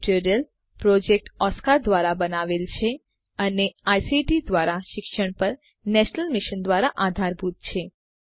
આ tutorial project Oscar ધ્વારા બનાવવામાં આવ્યો છે અને આઇસીટી એમએચઆરડી ભારત સરકાર દ્વારા શિક્ષણ પર નેશનલ મિશન દ્વારા આધારભૂત છે